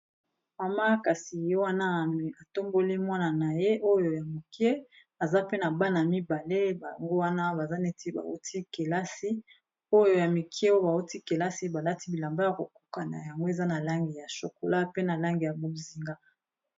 Mama kasi ye wana atomboli mwana na ye oyo ya moke aza pe na bana mibale bango wana baza neti bawuti kelasi oyo ya mike oyo bawuti kelasi balati bilamba ya kokokana yango eza na langi ya shokola pe na langi ya bozinga